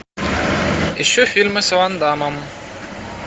ищу фильмы с ван даммом